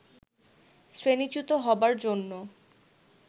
শ্রেণীচ্যুত হবার জন্য